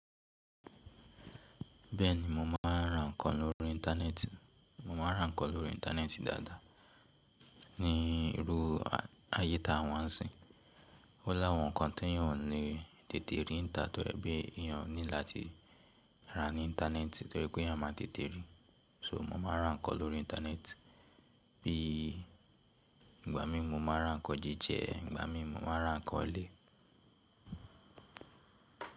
Bẹ́ẹ̀ni, mo máa ń ra ǹkan lórí Íńtánẹ́ẹ̀tì. Mo máa ń ra ǹkan lórí Íńtánẹ́ẹ̀tì dáadáa. Ní irú ayé ta wa ń sìn, ó láwọn ǹkan tí èèyàn ò ní tètè rí n ta tó ẹ̀ pe èèyàn ní láti ra ní Íńtánẹ́ẹ̀tì torí pé eyan máa tètè ríi. So mo máa ń ra ǹkan lórí Íńtánẹ́ẹ̀tì. Bí ìgbà mí máa ra ǹkan jíjẹ, ìgbà mímu máa ra ǹkan olé.